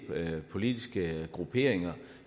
politiske grupperinger